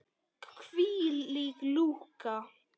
Hvílík lúka!